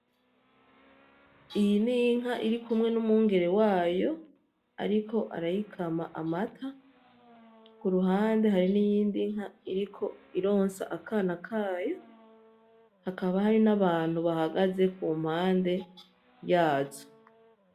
Iyi n'inka iri kumwe n'umwungere wayo ariko arayikama amata kuruhande hari n'iyindi nka iriko ironsa akana kayo hakaba hari n'abantu bahagaze kumpande yazo